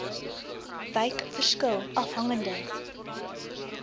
wyk verskil afhangende